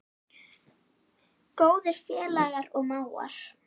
Góðir félagar og mágar.